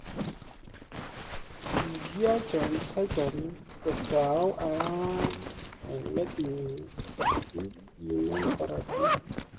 Kikiocho surgery kotou arawani eng metitnyi si kenem korotik